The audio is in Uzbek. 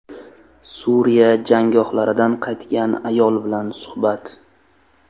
Suriya jangohlaridan qaytgan ayol bilan suhbat.